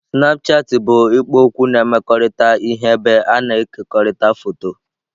Snapchatị bụ ikpo okwu na-emekọrịta ihe ebe a na-ekekọrịta foto.